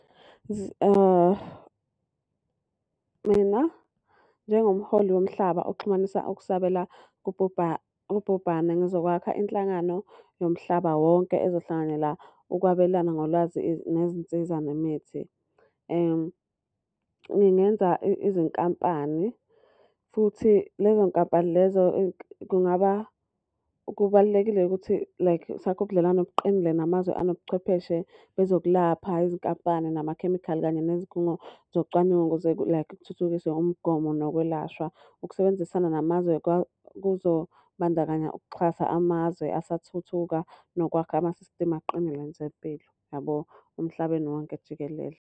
Mina, njengomholi womhlaba oxhumanisa ukusabela ubhubhane ngizokwakha inhlangano yomhlaba wonke ezohlanganyela ukwabelana ngolwazi nezinsiza nemithi. Ngingenza izinkampani, futhi lezo nkampani lezo kungaba. Kubalulekile ukuthi like sakhe ubudlelwano obuqinile namazwe anobuchwepheshe bezokulapha, izinkampani namakhemikhali kanye nezikhungo zocwaningo ukuze like kuthuthukiswe umgomo nokwelashwa. Ukusebenzisana namazwe kuzobandakanya ukuxhasa amazwe asathuthuka nokwakha ama-system aqinile kwenzempilo yabo, emhlabeni wonke jikelele.